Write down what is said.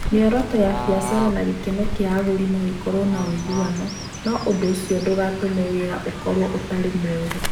Mĩoroto ya biacara na gĩkeno kĩa agũri no ikorũo na ũiguano, no ũndũ ũcio ndũgatũme wĩra ũkorũo ũtarĩ mwega.